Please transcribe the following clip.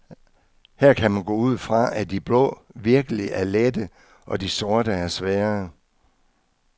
Her kan man gå ud fra, at de blå virkelig er lette og de sorte er svære.